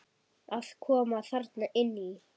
Að koma þarna inn í?